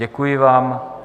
Děkuji vám.